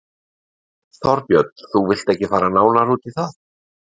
Þorbjörn: Þú vilt ekki fara nánar út í það?